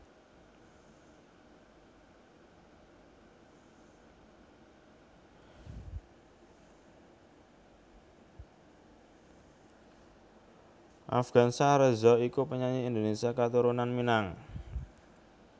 Afgansyah Reza iku penyanyi Indonésia katurunan Minang